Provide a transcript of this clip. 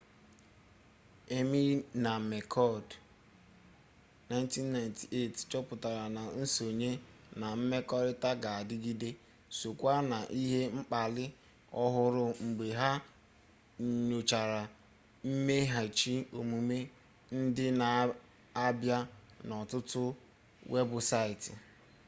eighmey na mccord1998 chọpụtara na nsonye” na mmekọrịta ga-adịgịde” sokwa na ihe mkpali ọhụrụ mgbe ha nyochara mmeghachi omume ndị na-abịa n'ọtụtụ webụsaịtị